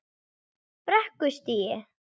Brekkustíg